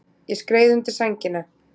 Ég skreið undir sængina.